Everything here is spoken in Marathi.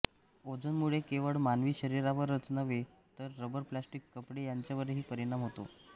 ओझोनमुळे केवळ मानवी शरीरावरच नव्हे तर रबर प्लॅस्टिक कपडे यांच्यावरही परिणाम होतो